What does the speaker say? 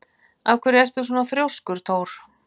Af hverju ertu svona þrjóskur, Thór?